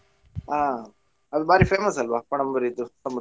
ಹಾ ಅದ್ ಭಾರಿ famous ಅಲ್ವಾ Panambur ಇದ್ದು ಸಮುದ್ರ.